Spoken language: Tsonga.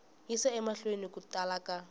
yisa emahlweni ku tala ka